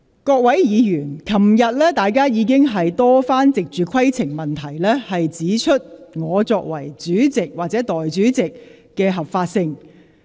各位議員，昨天大家已經多番藉着提出規程問題，質疑我擔任內務委員會主席或立法會代理主席的合法性。